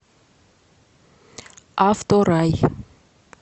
авторай